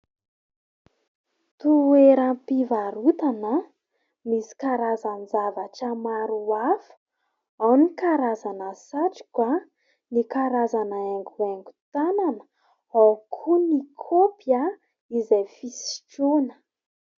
Toeram-pivarotana misy karazany zavatra maro hafa. Ao ny karazana satroka ; ny karazana haingohaingon-tanana ; ao koa ny kopy izay fisotroana.